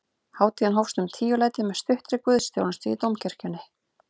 Hátíðin hófst um tíuleytið með stuttri guðsþjónustu í dómkirkjunni